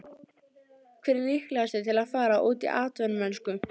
Hver er líklegastur til að fara út í atvinnumennsku?